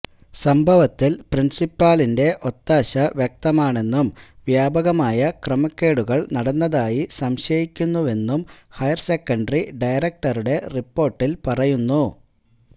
സംഭവത്തില് പ്രിന്സിപ്പലിന്റെ ഒത്താശ വ്യക്തമാണെന്നും വ്യാപകമായ ക്രമക്കേടുകള് നടന്നതായി സംശയിക്കുന്നുവെന്നും ഹയര് സെക്കന്ററി ഡയറക്ടറുടെ റിപ്പോര്ട്ടില് പറയുന്നു